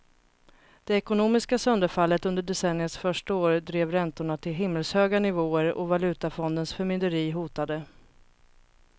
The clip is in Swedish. Det ekonomiska sönderfallet under decenniets första år drev räntorna till himmelshöga nivåer och valutafondens förmynderi hotade.